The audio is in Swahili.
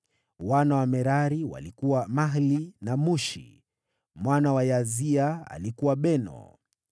Wana wa Merari: walikuwa Mahli na Mushi. Mwana wa Yaazia: alikuwa Beno.